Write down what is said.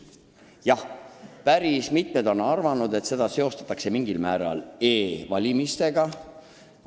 Jah, päris mitmed on arvanud, et seda poleemikat seostatakse mingil moel e-valimiste omaga.